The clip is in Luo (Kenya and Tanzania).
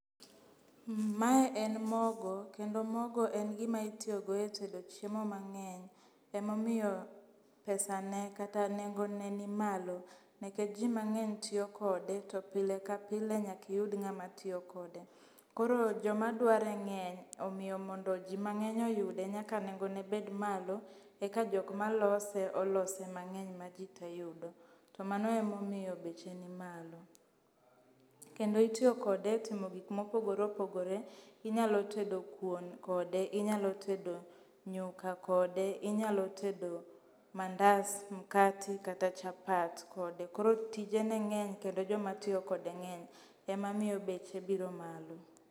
Mae en mogo kendo mogo en gi ma itiyogo e tedo chiemo mang'eny. Emomiyo pesa ne kata nengo ne ni malo nikech ji mang'eny tiyo kode to pile ka pile nyaka iyud ng'a matiyo kode. Koro jo madware ng'eny omiyo mondo ji mang'eny oyude nyaka nengo ne bet malo, eka jok malose olose mang'eny ma ji te yudo. To mano emomiyo beche ni malo. Kendo itiyo kode e timo gik mopogore opogore. Inyalo tedo kuon kode, inyalo tedo nyuka kode. Inyalo tedo mands, mkati kata chapa kode. Koro tijene ng'eny kendo jo matiyo kode ng'eny. Emamiyo beche biro malo